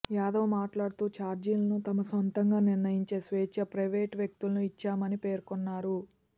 యాదవ్ మాట్లాడుతూ చార్జీలను తమ సొంతంగా నిర్ణయించే స్వేచ్ఛ ప్రయివే టు వ్యక్తులకు ఇచ్చామని పేర్కొన్నారు